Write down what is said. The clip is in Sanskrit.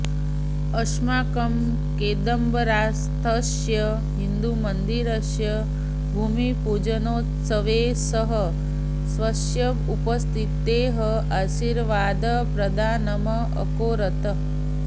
अस्माकं केन्बरास्थस्य हिन्दूमन्दिरस्य भूमिपूजनोत्सवे सः स्वस्य उपस्थितेः आशीर्वादप्रदानम् अकरोत्